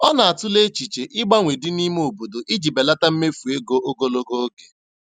Ọ na-atụle echiche ịgbanwe dị n'ime obodo iji belata mmefu ego ogologo oge.